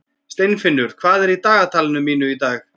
Steinfinnur, hvað er í dagatalinu mínu í dag?